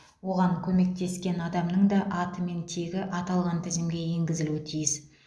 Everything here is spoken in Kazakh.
оған көмектескен адамның да аты мен тегі аталған тізімге енгізілуі тиіс